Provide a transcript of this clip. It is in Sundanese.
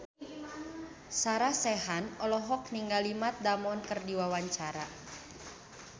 Sarah Sechan olohok ningali Matt Damon keur diwawancara